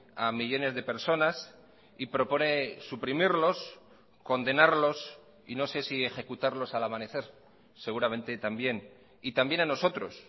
a millónes de personas y propone suprimirlos condenarlos y no sé si ejecutarlos al amanecer seguramente también y también a nosotros